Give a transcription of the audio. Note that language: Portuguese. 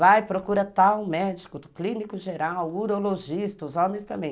Vai, procura tal médico, clínico geral, urologista, os homens também.